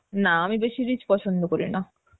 না আমি বেশি rich পছন্দ করি না